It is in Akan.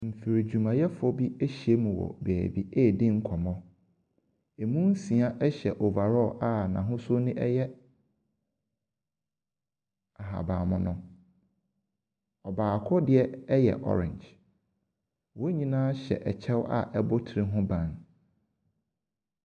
Mfiridwumayɛfoɔ bi ahyia mu wɔ baabi redi nkɔmmɔ. Emu nsia hyɛ over all a n'ahosu no yɛ ahabanmono. Ɔbaako deɛ yɛ orange. Wɔn nyinaa hyɛ kyɛ a ɛbɔ nnipa ti ho ban.